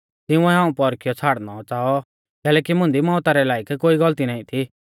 तिंउऐ हाऊं पौरखियौ छ़ाड़नौ च़ाऔ कैलैकि मुंदी मौउता रै लायक कोई गलती नाईं थी